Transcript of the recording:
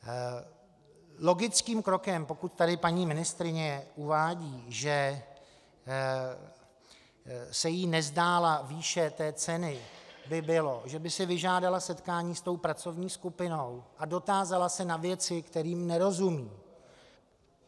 Logickým krokem, pokud tady paní ministryně uvádí, že se jí nezdála výše té ceny, by bylo, že by si vyžádala setkání s tou pracovní skupinou a dotázala se na věci, kterým nerozumí.